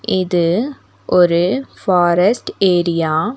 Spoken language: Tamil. இது ஒரு ஃபாரஸ்ட் ஏரியா .